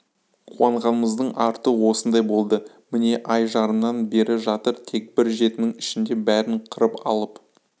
қуанғанымыздың арты осындай болды міне ай жарымнан бері жатыр тек бір жетінің ішінде бәрін қырып алып